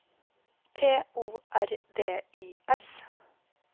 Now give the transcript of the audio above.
T O R D I S